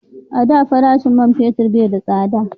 A da farashin man fetir bai da tsada